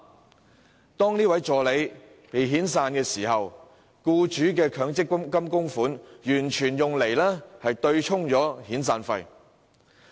可是，當該名助理被遣散時，全部僱主供款卻用作對沖遣散費。